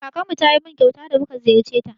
Kakarmu ta yi min kyauta da mu ka ziyarce ta.